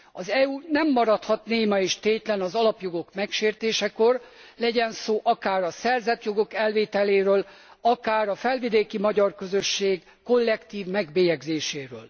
Az EU nem maradhat néma és tétlen az alapjogok megsértésekor, legyen szó akár a szerzett jogok elvételéről, akár a felvidéki magyar közösség kollektív megbélyegzéséről.